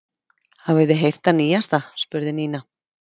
Hafið þið heyrt það nýjasta? spurði Nína.